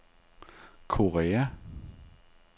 Korea